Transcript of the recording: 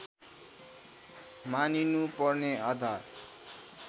मानिनुपर्ने आधार